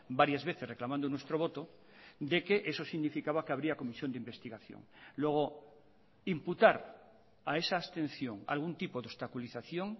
varias veces reclamando nuestro voto de que eso significaba que habría comisión de investigación luego imputar a esa abstención algún tipo de obstaculización